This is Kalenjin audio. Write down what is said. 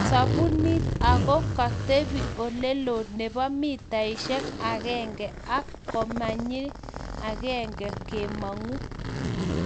sabunit, ago ketepi oleloo nebo mitaishek agenge ak komanyii agenge kemangu